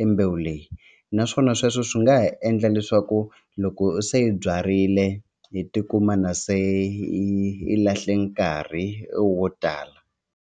embewu leyi naswona sweswo swi nga ha endla leswaku loko se hi byarile hi tikuma na se hi hi lahle nkarhi wo tala.